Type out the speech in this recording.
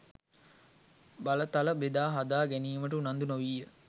බලතල බෙදා හදා ගැනීමට උනන්දු නොවීය.